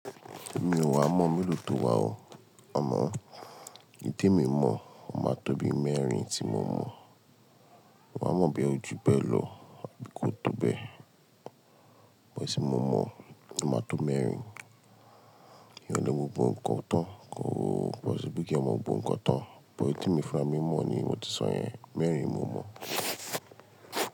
Mi ò wá mọ́ mélòó tó wà o, àmọ́, èyí tí èmi mọ̀, ó máa tó bí mẹ́rin tí mo mọ̀. Mi ò wá mọ̀ bí ó ju bẹ́ẹ̀ lọ àbí kó tó bẹ́ẹ̀. But èyí tí mo mọ̀, ó máa tó mẹ́rin. Èèyàn ò lè mọ́ gbogbo nǹkan tán, kòo, bọ̀sí kí èèyàn mọ́ gbogbo nǹkan tán. But èyí tí èmi fúnra mi mọ̀ ni mo ti sọ yẹn, mẹ́rin ni mo mọ̀.